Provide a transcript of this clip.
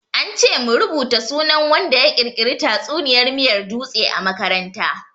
An ce mu rubuta sunan wanda ya ƙirƙiri tatsuniyar miyar dutse a makaranta.